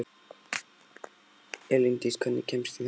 Elíndís, hvernig kemst ég þangað?